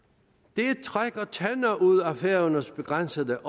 det trækker tænder ud af færøernes begrænsede